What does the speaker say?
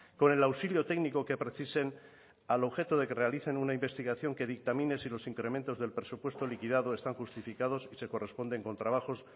con el auxilio técnico que precisen al objeto de que realicen una investigación que dictamine si los incrementos del presupuesto liquidado están justificados y se corresponden con trabajos